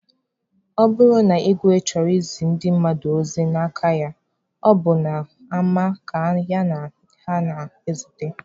Ọ bụrụ na igwe chọrọ izi ndị mmadụ ozi n'aka ya, ọ bụ n'ama ka ya na ha na-ezute.